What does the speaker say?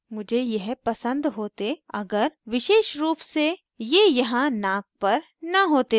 मुझे यह पसंद होते अगर विशेष रूप से ये यहाँ नाक पर न होते तो